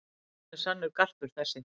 Hann er sannur garpur þessi.